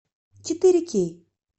четыре кей